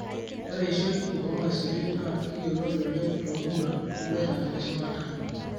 ore eishoi ormaisuri naa kiyoloti oleng tomuruan oloirag leshumata.